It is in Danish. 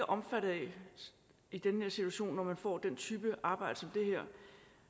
omfattet af i den her situation når man får den type arbejde det her